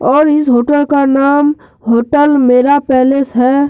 और इस होटल का नाम होटल मीरा पैलेस है।